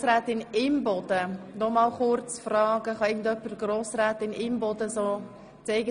Grossrätin Imboden wollte den Vorstoss abschreiben lassen.